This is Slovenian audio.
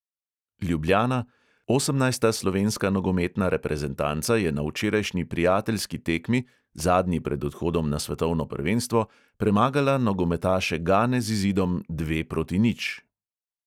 Ljubljana, 18. slovenska nogometna reprezentanca je na včerajšnji prijateljski tekmi, zadnji pred odhodom na svetovno prvenstvo, premagala nogometaše gane z izidom dve proti nič.